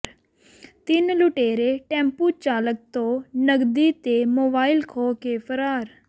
ਤਿੰਨ ਲੁਟੇਰੇ ਟੈਂਪੂ ਚਾਲਕ ਤੋਂ ਨਕਦੀ ਤੇ ਮੋਬਾਈਲ ਖੋਹ ਕੇ ਫਰਾਰ